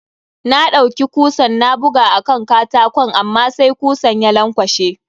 Na ɗaiuki kusan na buga a kan katakon amma sai kusan ya lankwashe.